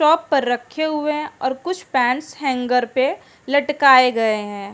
Top पर रखे हुए हैं और कुछ पेंट्स हेंगर पे लटकाए गए हैं।